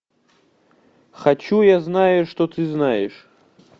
хочу я знаю что ты знаешь